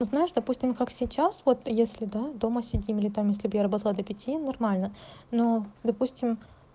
вот знаешь допустим как сейчас вот если да дома сидим или там если бы я работала до пяти нормально но допустим